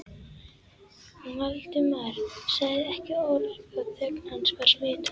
Valdimar sagði ekki orð og þögn hans var smitandi.